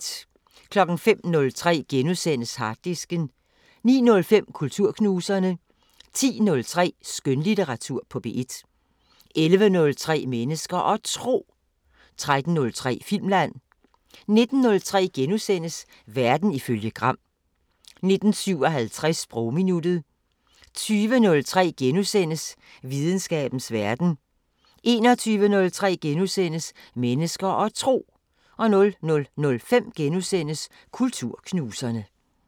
05:03: Harddisken * 09:05: Kulturknuserne 10:03: Skønlitteratur på P1 11:03: Mennesker og Tro 13:03: Filmland 19:03: Verden ifølge Gram * 19:57: Sprogminuttet 20:03: Videnskabens Verden * 21:03: Mennesker og Tro * 00:05: Kulturknuserne *